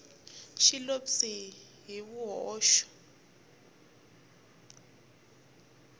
xi lo pyi hi swihoxo